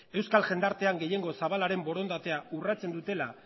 euskal jendartean gehiengo zabalaren borondatea urratzen dutela